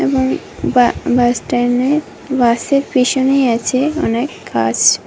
এবং বা-বাসস্ট্যান্ডের বাসের পেছনেই আছে অনেক গাছ।